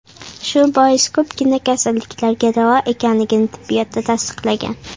Shu bois, ko‘pgina kasalliklarga davo ekanligi tibbiyotda tasdiqlangan.